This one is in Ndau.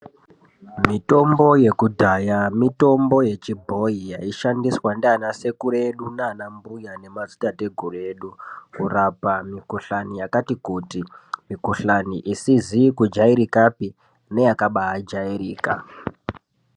Mitombo yekudhaya mitombo yechibhoyi yaishandiswa ndiana sekuru edu nana mbuya nemadzitateguru edu kurapa mikhuhlani yakatikuti, mikhuhlani isizi kujairikapi neyakajairika.